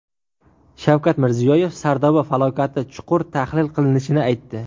Shavkat Mirziyoyev Sardoba falokati chuqur tahlil qilinishini aytdi.